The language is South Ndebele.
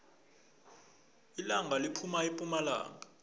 ilanga liphuma epumalanga